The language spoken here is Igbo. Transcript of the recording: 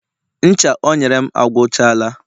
ncha o nyere m agwuchala